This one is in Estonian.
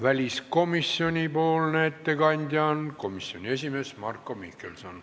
Väliskomisjoni ettekandja on väliskomisjoni esimees Marko Mihkelson.